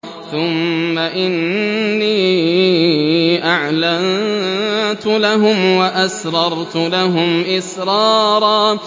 ثُمَّ إِنِّي أَعْلَنتُ لَهُمْ وَأَسْرَرْتُ لَهُمْ إِسْرَارًا